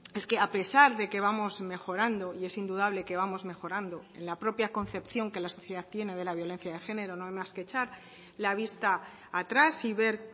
es que a pesar de que vamos mejorando y es indudable que vamos mejorando en la propia concepción que la sociedad tiene de la violencia de género no hay más que echar la vista atrás y ver